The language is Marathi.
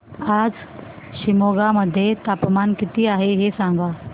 आज शिमोगा मध्ये तापमान किती आहे सांगा